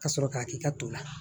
Ka sɔrɔ k'a k'i ka to la